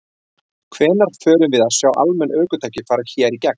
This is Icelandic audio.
Hvenær förum við að sjá almenn ökutæki fara hér í gegn?